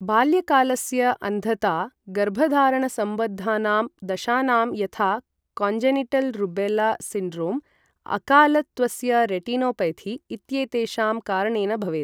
बाल्यकालस्य अन्धता गर्भधारणसम्बद्धानां दशानां यथा काञ्जेनिटल् रूबेल्ल सिण्ड्रोम्, अकालत्वस्य रेटिनोपैथी, इत्येतेषां कारणेन भवेत्।